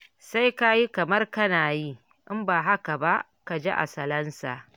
Sai ka yi kamar kana yi, in ba haka ba, ka ji a salansa.